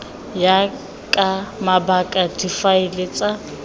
ya ka mabaka difaele tsa